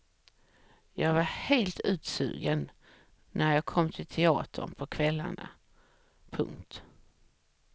Jag var helt utsugen när jag kom till teatern på kvällarna. punkt